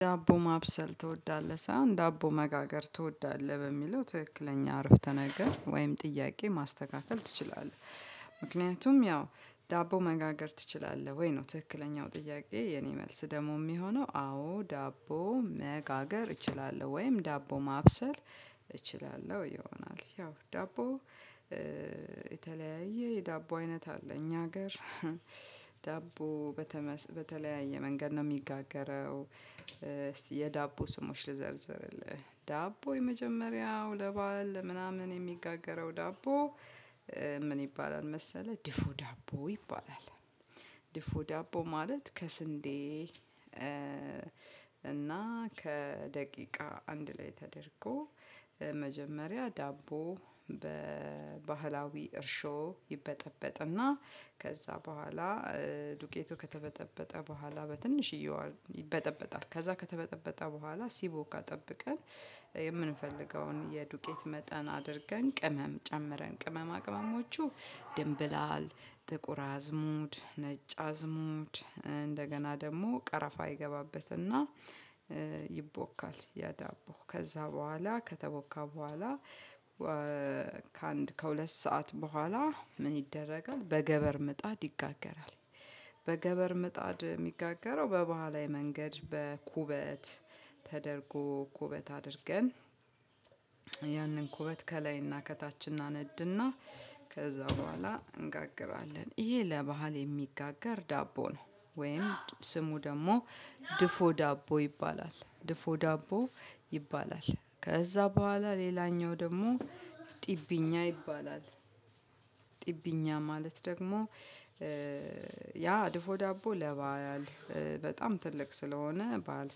"ዳቦ ማብሰል ትወዳለህ?" ሳይሆን "ዳቦ መጋገር ትወዳለህ?" በሚለው ትክክለኛ አረፍተ ነገር ወይም ጥያቄ ማስተካከል ትችላለህ። ምክንያቱም ያው "ዳቦ መጋገር ትችላለህ ወይ?" ነው ትክክለኛው ጥያቄ የኔ መልስ ደግሞ የሚሆነው አዎ ዳቦ መጋገር እችላለሁ ወይም ዳቦ ማብሰል እችላለሁ ይሆናል። ያው ዳቦ የተለያየ የዳቦ አይነት አለ። እኛ ሀገር በተምስ ዳቦ በተለያየ መንገድ ነው የሚጋገረው። የዳቦ ስሞች ልዘርዝርልህ፤ ዳቦ የመጀመሪያው ለበአል ምናምን የሚጋገረው ዳቦ ምን ይባላል መሰለህ ድፉ ዳቦ ይባላል። ድፉ ዳቦ ማለት ከስንዴ እና ከደቂቃ አንድ ላይ ተደርጎ መጀመሪያ ዳቦ በባህላዊ እርሾ ይበጠበጥና ከዛ በኋላ ዱቄቱ ከተበጠበጠ በኋላ በትንሽዬዋ ይበጠበጣል። ከዛ ከተበጠበጠ በኋላ ሲቦካ ጠብቀን የምንፈልገውን የዱቄት መጠን አድርገን ቅመም ጨምረን ቅማም አቅመሞቹ ድንብላል ጥቁር አዝሙድ ነጭ አዝሙድ እንደገና ደግሞ ቀረፋ ይገባበትና ይቦካል ያዳቦ። ከዛ በኋላ ከተወካ በኋላ ከአንድ ከሁለት ሰዓት በኋላ ምን ይደረጋል በገበር ምጣድ ይጋገራል። በገበር ምጣድ የሚጋገረው በባህላዊ መንገድ በኩበት ተደርጎ ኩበት አድርገን ያንን ኩበት ከላይና ከታች እናነድና ከዛ በኋላ እንጋግራለን። ይሄ ለባህል የሚጋጋር ዳቦ ነው፤ ወይም ስሙ ደግሞ ድፎ ዳቦ ይባላል ድፎ ዳቦ ይባላል። ከዛ በኋላ ሌላኛው ደግሞ ጥብኛ ይባላል። ጥብኛ ማለት ደግሞ ያ ድፎ ዳቦ ለባል በጣም ትልቅ ስለሆነ በዓል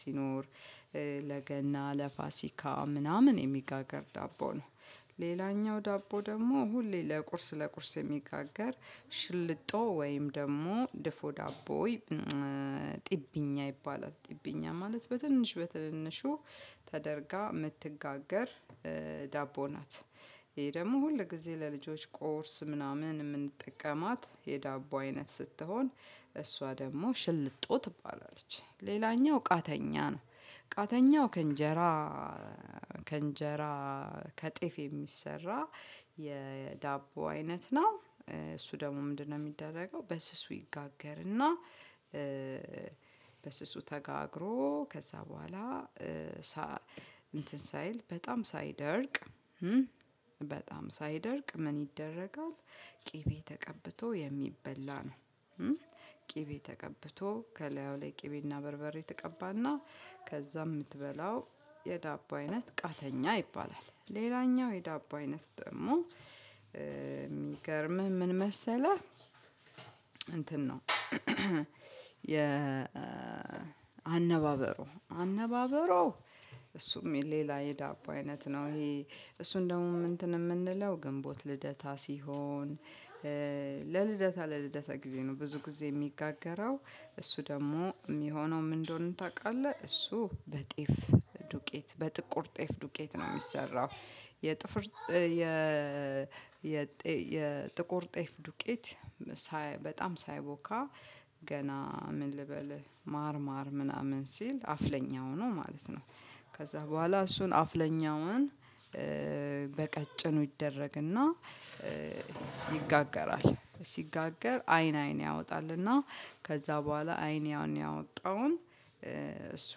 ሲኖር፣ ለገና፣ ለፋሲካ ምናምን የሚጋገር ዳቦ ነው። ሌላኛው ዳቦ ደግሞ ሁሌ ለቁርስ ለቁርስ የሚጋገር ሽልጦ ወይም ደግሞ ድፎ ዳቦ ይ ጥብኛ ይባላል። ጥብኛ ማለት በትንሽ በትንንሹ ተደርጋ የምትጋገር ዳቦ ናት። ይሄ ደግሞ ሁል ጊዜ ለልጆች ቁርስ ምናምን የምንጠቀማት የዳቦ አይነት ስትሆን፤ እሷ ደግሞ ሽልጦ ትባላለች። ሌላኛው ቃተኛ ነው። ቃተኛው ከእንጀራ ከእንጀራ ከጤፍ የሚሰራ የዳቦ አይነት ነው። እሱ ደግሞ ምንድነው የሚደረገው በስሱ ይጋገርና በስሱ ተጋግሮ ከዛ በኋላ እንትን ሳይል በጣም ሳይደርቅ በጣም ሳይደርቅ ምን ይደረጋል ቅቤ ተቀብቶ የሚበላ ነው። ቅቤ ተቀብቶ ከላዩ ላይ ቅቤና በርበሬ ትቀባና ከዛ የምትበላው የዳቦ አይነት ቃተኛ ይባላል። ሌላኛው የዳቦ አይነት ደግሞ የሚገርምህ ምን መሰለህ እንትን ነው የ አነባበሮ። አነባበሮ እሱም ሌላ የዳቦ አይነት ነው። ይሄ እሱን ደግሞ እንትን የምንለው ግንቦት ልደታ ሲሆን ለልደታ ለልደታ ጊዜ ነው ብዙ ጊዜ የሚጋገረው። እሱ ደግሞ የሚሆነው ምን እንደሆነ ታውቃለህ? እሱ በጤፍ ዱቄት በጥቁር ጤፍ ዱቄት ነው የሚሰራው። የጥፍር የ የጥቁር ጤፍ ዱቄት ሳይ በጣም ሳይቦካ ገና ምን ልበልህ ማር ማር ምናምን ሲል አፍለኛ ሆኖ ማለት ነው ከዛ በኋላ እሱን አፍለኛውን በቀጭኑ ይደረግና ይጋገራል። ሲጋገር አይን አይን ያወጣልና ከዛ በኋላ አይን ያወጣውን እሱ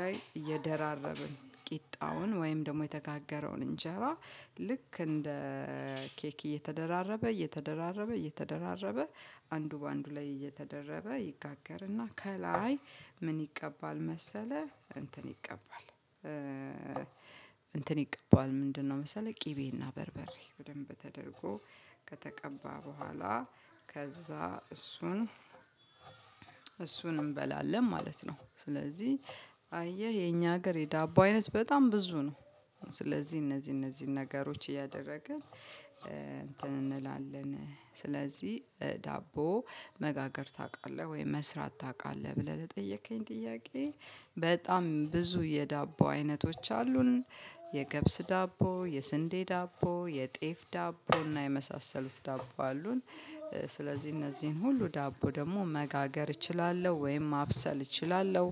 ላይ እየደራረብን ቂጣውን ወይም ደግሞ የተጋገረውን እንጀራ ልክ እንደ ኬክ እየተደራረበ እየተደራረበ እየተደራረበ አንዱ በአንዱ ላይ እየተደረበ ይጋገርና ከላይ ምን ይቀባል መሰለህ? እንትን ይቀባል እንትን ይቀባዋል ምንድነው መሰለህ? ቅቤና በርበሬ በደንብ ተደርጎ ከተቀባ በኋላ ከዛ እሱን እሱን እንበላለን ማለት ነው። ስለዚህ አየህ የኛ ሀገር የዳቦ አይነት በጣም ብዙ ነው። ስለዚህ እነዚህ እነዚህን ነገሮች እያደረገ እንትን እንላለን። ስለዚህ "ዳቦ መጋገር ታውቃለህ ወይም መስራት ታውቃለህ?" ብለህ ለጠየቅከኝ ጥያቄ፣ በጣም ብዙ የዳቦ አይነቶች አሉን፤ የገብስ ዳቦ፣ የስንዴ ዳቦ፣ የጤፍ ዳቦ እና የመሳሰሉት ዳቦ አሉን። ስለዚህ እነዚህን ሁሉ ዳቦ ደግሞ መጋገር እችላለሁ ወይም ማብሰል እችላለሁ።